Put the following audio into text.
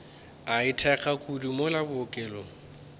a itekago kudu mola bookelong